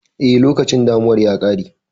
Eh, lokacin damunar ya ƙare.